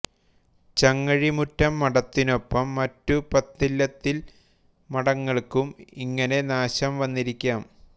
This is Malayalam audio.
ചങ്ങഴിമുറ്റം മഠത്തിനൊപ്പം മറ്റു പത്തില്ലത്തിൽ മഠങ്ങൾക്കും ഇങ്ങനെ നാശം വന്നിരിക്കാം